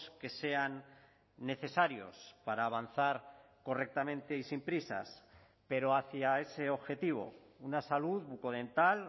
que sean necesarios para avanzar correctamente y sin prisas pero hacia ese objetivo una salud bucodental